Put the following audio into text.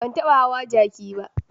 Ban taba hawa jaki ba.